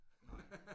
Nej